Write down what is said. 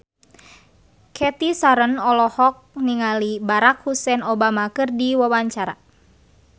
Cathy Sharon olohok ningali Barack Hussein Obama keur diwawancara